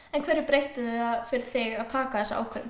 en hverju breytti það fyrir þig að taka þessa ákvörðun